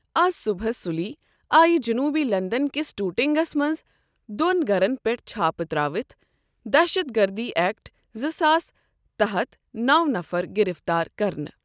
اَز صُبحس سُلی، آیہ جٔنوٗبی لنٛدن کِس ٹوٗٹِنٛگس منٛز دۄن گَھرن پیٚٹھ چھاپہٕ ترٛٲوِتھ ، دہشت گردی ایٚکٹ زٕ ساسس تحت نَو نَفر گِرِفتار کرنہٕ ۔